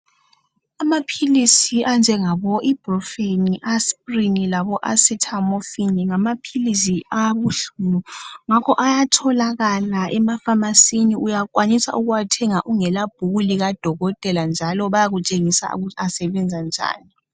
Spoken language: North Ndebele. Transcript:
Amaphilisi anjengabo iprufen, asprin labo asithamofini ngamaphilizi awobuhlungu ngakho ayatholakala emafamasini uyakwanisa ukuwathenga ungela bhuku labodokotela njalo bayakutshengisa ukuthi asebenza njani.